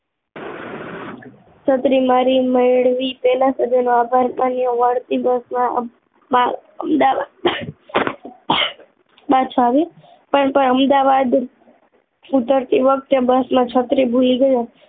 છત્રી મારી મેળવી પેલા સજ્જનો આભાર માન્યો વળતી બસમાં મા અમદાવાદ પાછા આવ્યો પણ પણ અમદાવાદ ઉતરતી વખતે બસ માં છત્રી ભૂલી ગઈ હતી